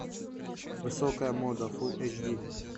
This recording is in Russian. высокая мода фул эйч ди